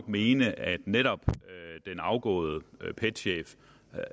mene at netop den afgåede pet chef